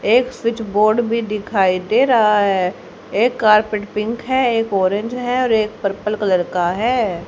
एक switch board भी दिखाई दे रहा है एक कारपेट पिंक हैं एक ऑरेंज हैं और एक पर्पल कलर का है।